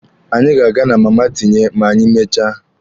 Anyị ga-aga na Mama Tinye ma anyị mechaa.